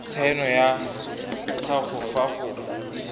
tshaeno ya gago fa go